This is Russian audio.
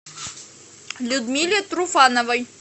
людмиле труфановой